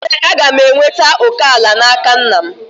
Ee, m ga-enweta òkè ala n'aka nna m